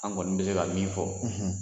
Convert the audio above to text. An kɔni be se ka min fɔ